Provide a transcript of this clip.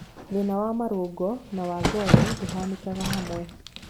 Thĩna wa marũngo na wa ngothi ndũhanĩkaga hamwe.